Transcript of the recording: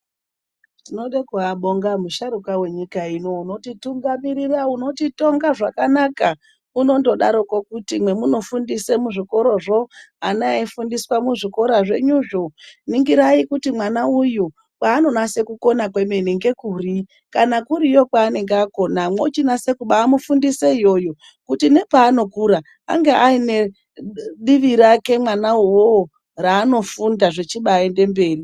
Tinoda kuabonga musharukwa wenyika ino unotitungumirira. Unotitonga zvakanaka. Unondodaroko kuti mwemunofundise muzvikorozvo, ana eifundiswa muzvikora zvenyuzvo,. ningirai kuti mwana uyu kwaanonase kukona kwemene ngekuri. Kana kuriyo kwaanenge akona, mochinase kubamufundisa iyoyo, kuti nepaanokura ange aine divi rake mwana uwowo, raanofunda zvichibaende mberi.